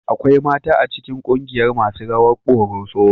Akwai mata a cikin kungiyar masu rawar ƙoroso